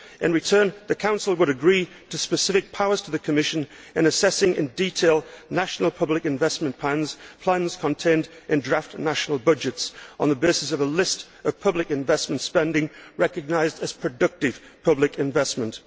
In return, the Council would agree to specific powers to the Commission in assessing in detail national public investment plans, plans contained in draft national budgets on the basis of a list of public investment spending recognised as productive public investment.